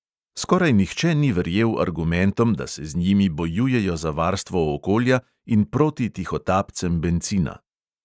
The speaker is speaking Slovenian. Skoraj nihče ni verjel argumentom, da se z njimi bojujejo za varstvo okolja in proti tihotapcem bencina.